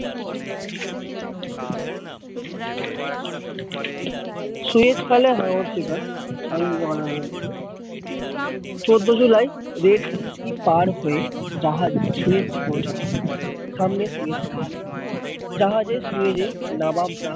Suez খালে হাঙর শিকার চোদ্দো জুলাই red CP পার হয়ে জাহাজ সুয়েজ পৌঁছালো সামনে সুয়েজ খাল জাহাজ এ সুয়েজ এ নবাব রা